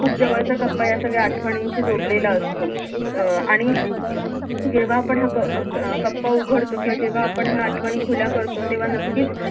खूप जवळचा कप्पा या सगळ्या आठवणींशी जोडलेला असतो अं आणि जेव्हा आपण ह्या क अं क अं कप्पा उघडतो किंवा जेव्हा आपण ह्या आठवणी खुल्या करतो तेव्हा नक्कीच